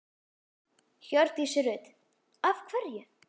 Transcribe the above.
Hjördís Rut: Af hverju?